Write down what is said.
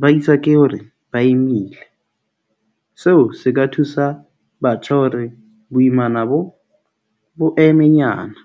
Ba iswa ke hore ba imile. Seo se ka thusa batjha hore boimana bo bo emenyana.